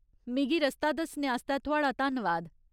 मिगी रस्ता दस्सने आस्तै थुआढ़ा धन्नवाद।